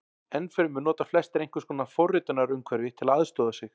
Enn fremur nota flestir einhvers konar forritunarumhverfi til að aðstoða sig.